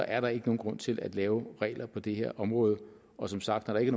er der ikke nogen grund til at lave regler på det her område og som sagt når der ikke